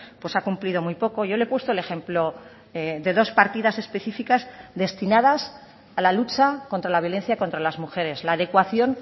pues ha cumplido muy poco yo le he puesto el ejemplo de dos partidas especificas destinadas a la lucha contra la violencia contra las mujeres la adecuación